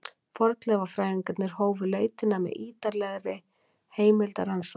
Fornleifafræðingarnir hófu leitina með ýtarlegri heimildarannsókn.